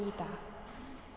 í dag